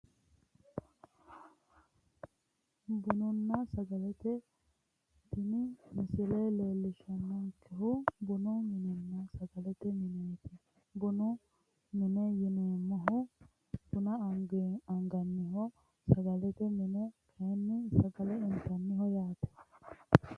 Bununna sagalete tini misile leellishshannonkehu bunu minenna sagalete mineeti bunu mine yineemmohu bana anganniho sagalete mini kayinni sagale intanniho yaate